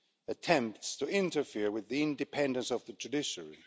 attempts to interfere with the independence of the judiciary.